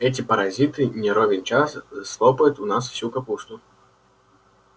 эти паразиты не ровен час слопают у нас всю капусту